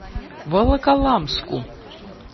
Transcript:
волоколамску